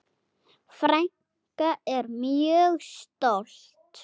Frænka er mjög stolt.